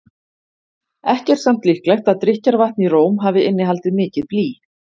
Ekki er samt líklegt að drykkjarvatn í Róm hafi innihaldið mikið blý.